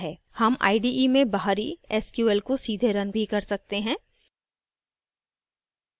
हम ide में बाहरी sql को सीधे रन भी कर सकते हैं